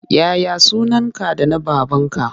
Ya ya sunanka da na babanka?